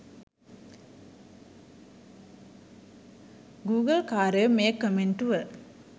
ගුගල්කාරයෝ මේ කමෙන්ටුව